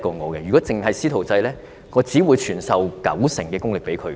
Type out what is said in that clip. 但是，如果僅僅是"師徒制"的話，我只會傳授九成功力給他。